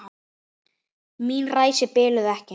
Mín ræsi biluðu ekki.